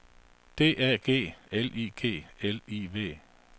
D A G L I G L I V